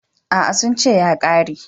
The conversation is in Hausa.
A'a, sun ce ya ƙare.